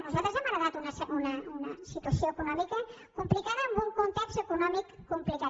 nosaltres hem heretat una situació econòmica complicada amb un context econòmic complicat